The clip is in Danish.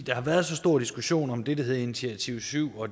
der har været så stor diskussion om det der hedder initiativ syv og